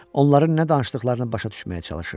Onların nə danışdıqlarını başa düşməyə çalışırdım.